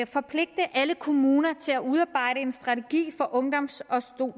forpligte alle kommuner til at udarbejde en strategi for en ungdoms og